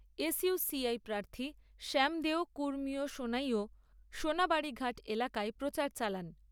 S U C I প্রার্থী শ্যামদেও কুর্মীও সোনাই ও সোনাবাড়ীঘাট এলাকায় প্রচার চালান।